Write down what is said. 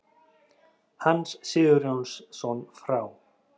Hans Sigurjónsson frá